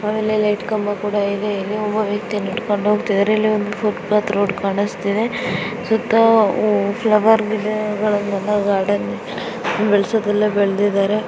ಆಮೇಲೆ ಲೈಟ್ ಕಂಬ ಕೂಡಾ ಇದೆ ಒಬ್ಬ ವ್ಯಕ್ತಿ ನಡೆದುಕೊಂಡು ಹೋಗುತ್ತಾ ಇದ್ದಾರೆ. ಇಲ್ಲಿ ಫುಟ್ಪಾತ್ ರೋಡ್ ಕಾಣಿಸುತ್ತಿದೆ ಸುತ್ತ ಫ್ಲವರ್ ಗಿಡಗಳು ಗಾರ್ಡನ್ ಬೆಳೆಸೋದ್ದೆಲ್ಲಾ ಬೆಳೆಸಿದ್ದಾರ.